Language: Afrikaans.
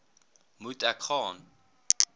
moet ek gaan